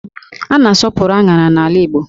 A na-asọpụrụ áṅárá n'ala Igbo